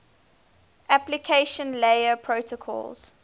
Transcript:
application layer protocols